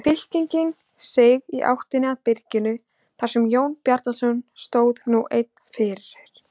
Fylkingin seig í áttina að byrginu þar sem Jón Bjarnason stóð nú einn fyrir.